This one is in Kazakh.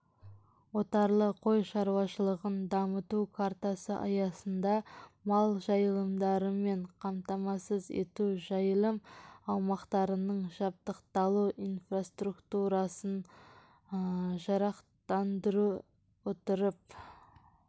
отарлы қой шаруашылығын дамыту картасы аясында мал жайылымдарымен қамтамасыз ету жайылым аумақтарының жабдықталу инфраструктурасын жарақтандыра отырып